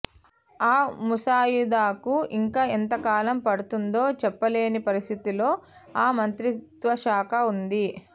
ఆ ముసాయిదాకు ఇంకా ఎంతకాలం పడుతుందో చెప్ప లే ని పరిస్థితిలో ఆ మంత్రిత్వశాఖ ఉంది